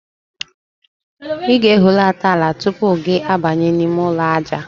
Ị ga-ehulata ala tupu gị abanye n'ime ụlọ aja.